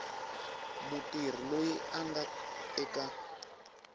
mutirhi loyi a nga eka